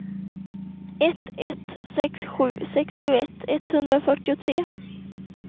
ett ett sex sju sextioett etthundrafyrtiotre